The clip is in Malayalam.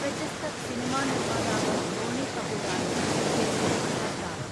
പ്രശസ്ത സിനിമാ നിർമ്മാതാവ് ബോണി കപൂറാണ് ശ്രീദേവിയുടെ ഭർത്താവ്.